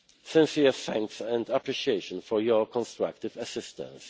Sincere thanks and appreciation for your constructive assistance.